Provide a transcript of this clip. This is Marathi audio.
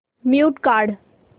म्यूट काढ